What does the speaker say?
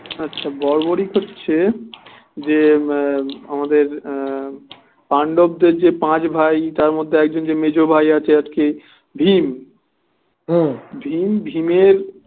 আচ্ছা বর্বরিক হচ্ছে যে যে আমাদের আহ পাণ্ডপদের যে পাঁচ ভাই তার মধ্যে একজন যে মেজ ভাই আছে আর কি ভীম ভীম ভীমের